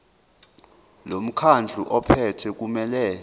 lomkhandlu ophethe kumele